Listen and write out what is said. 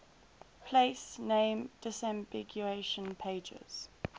place name disambiguation pages